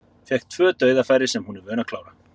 Fékk tvö dauðafæri sem hún er vön að klára.